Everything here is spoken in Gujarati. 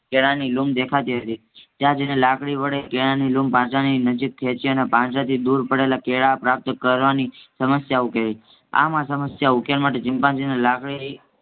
કેળાની લૂમ દેખાતી હતી. ત્યાં જાયને લાકડી વડે કેળાની લૂમ પાંજરાની નજીક ખેંચી અને પાંજરાથી દૂર પડેલા કેળા પ્રાપ્ત કરવાની સમસ્યા ઉકેલી આમ આ સમસ્યા ઉકેલ માટે ચિમ્પાન્જી લાકડીની